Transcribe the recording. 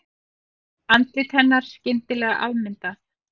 Andlit hennar skyndilega afmyndað.